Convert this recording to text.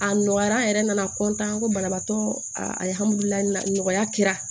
A nɔgɔyara an yɛrɛ nana tanko banabaatɔ nɔgɔya kɛra